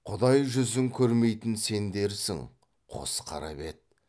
құдай жүзін көрмейтін сендерсің қос қара бет